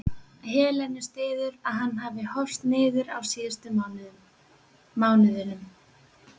Helenu styður að hann hafi horast niður á síðustu mánuðunum.